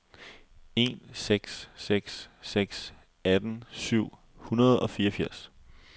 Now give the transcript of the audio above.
en seks seks seks atten syv hundrede og fireogfirs